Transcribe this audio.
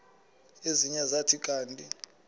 ezinye zathi kanti